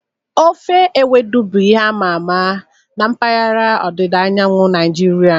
Ofe ewedu bụ ihe a ma ama na mpaghara ọdịda anyanwụ Naijiria.